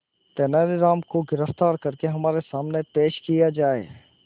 तेनालीराम को गिरफ्तार करके हमारे सामने पेश किया जाए